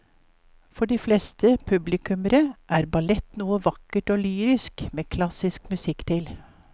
For de fleste publikummere er ballett noe vakkert og lyrisk med klassisk musikk til.